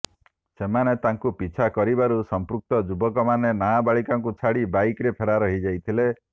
ସେମାନେ ତାଙ୍କୁ ପିଛା କରିବାରୁ ସମ୍ପୃକ୍ତ ଯୁବକମାନେ ନାବାଳିକାଙ୍କୁ ଛାଡ଼ି ବାଇକ୍ରେ ଫେରାର୍ ହୋଇଯାଇଥିଲେ